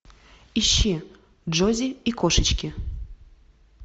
ищи джози и кошечки